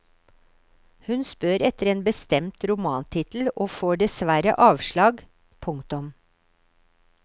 Hun spør etter en bestemt romantittel og får dessverre avslag. punktum